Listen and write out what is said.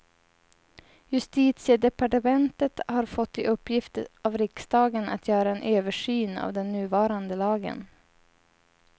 Justitiedepartementet har fått i uppgift av riksdagen att göra en översyn av den nuvarande lagen.